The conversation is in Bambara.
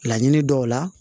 Laɲini dɔw la